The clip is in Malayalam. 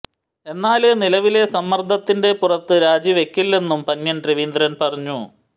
എന്നാല് നിലവിലെ സമ്മര്ദ്ദത്തിന്റെ പുറത്ത് രാജി വെക്കില്ലെന്നും പന്ന്യന് രവീന്ദ്രന് പറഞ്ഞു